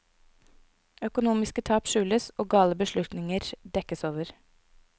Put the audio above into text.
Økonomiske tap skjules, og gale beslutninger dekkes over.